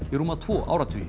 í rúma tvo áratugi